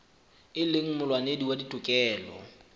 e leng molwanedi wa ditokelo